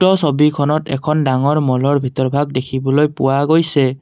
ছবিখনত এখন ডাঙৰ ম'লৰ ভিতৰ ভাগ দেখিবলৈ পোৱা গৈছে।